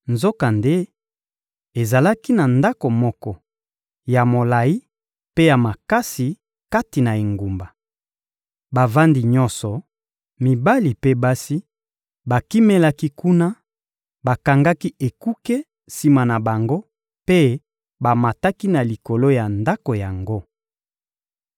Nzokande, ezalaki na ndako moko ya molayi mpe ya makasi kati na engumba. Bavandi nyonso, mibali mpe basi, bakimelaki kuna; bakangaki ekuke sima na bango mpe bamataki na likolo ya ndako yango.